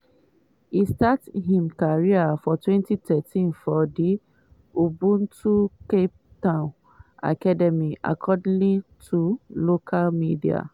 e start im career for 2013 for di ubuntu cape town academy according to local media.